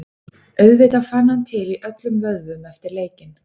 Auðvitað fann hann til í öllum vöðvum eftir leikinn.